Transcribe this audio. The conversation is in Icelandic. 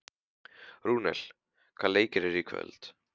Rúnel, hvaða leikir eru í kvöld?